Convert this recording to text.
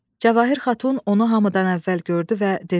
Cəvahir Xatun onu hamıdan əvvəl gördü və dedi: